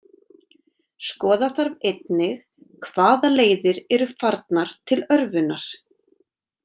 Skoða þarf einnig hvaða leiðir eru farnar til örvunar.